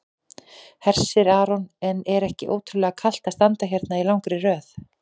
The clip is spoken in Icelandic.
Hersir Aron: En er ekki ótrúlega kalt að standa hérna í langri röð?